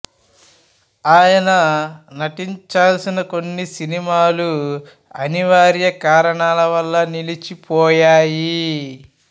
ఆయన నటించాల్సిన కొన్ని సినిమాలు అనివార్య కారణాల వాళ్ళ నిలిచిపోయాయి